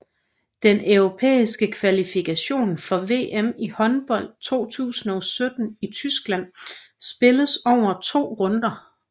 Den europæiske kvalifikation for VM i håndbold 2017 i Tyskland spilles over to runder